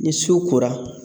Ni su kora